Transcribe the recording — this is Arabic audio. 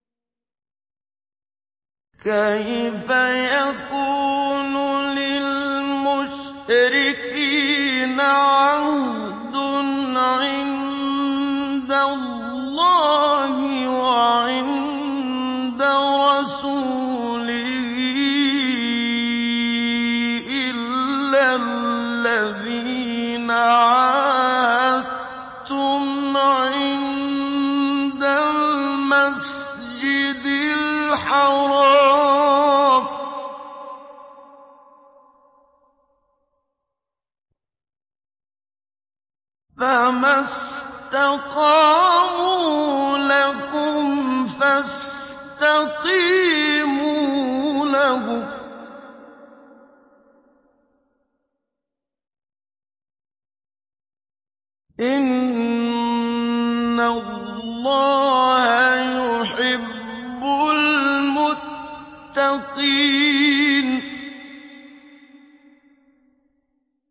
كَيْفَ يَكُونُ لِلْمُشْرِكِينَ عَهْدٌ عِندَ اللَّهِ وَعِندَ رَسُولِهِ إِلَّا الَّذِينَ عَاهَدتُّمْ عِندَ الْمَسْجِدِ الْحَرَامِ ۖ فَمَا اسْتَقَامُوا لَكُمْ فَاسْتَقِيمُوا لَهُمْ ۚ إِنَّ اللَّهَ يُحِبُّ الْمُتَّقِينَ